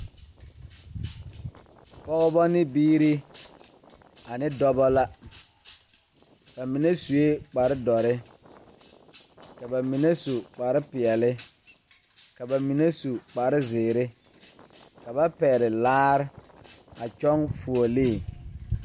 Pɔɔbɔ ne biire ane dɔbɔ la ba mine suee kparedoɔre ka ba mine su kparepeɛle ka ba mine su kparezeere ka ba pɛgle laare a kyɔŋ fuolee.